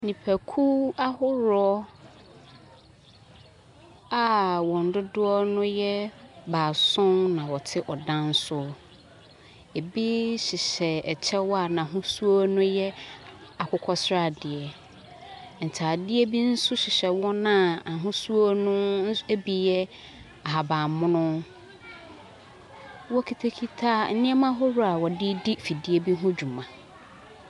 Nnipakuw ahorow a wɔn dodoɔ yɛ baason na wɔte ɔdan soro. Bi hyehyɛ kyɛw a n’ahosuo ne yɛ akokɔsradeɛ, ntaadeɛ bi nso hyehyɛ wɔn a ahosuo nso bi yɛ ahabanmono. Wɔkitakita nneɛma ahodoɔ a wɔde redi fidie bi ho dwuma.